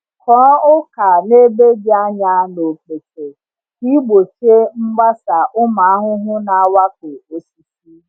Kụọ ọka n’ebe dị anya na okpete ka ị gbochie mgbasa ụmụ ahụhụ na-awakpo osisi.